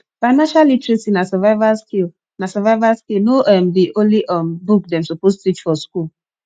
financial literacy na survival skill na survival skill no um be only um book dem suppose teach for school